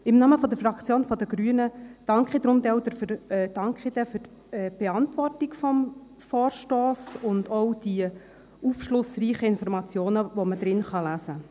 Im Namen der Fraktion der Grünen danke ich auch für die Beantwortung des Vorstosses sowie für die aufschlussreichen Informationen, die man lesen kann.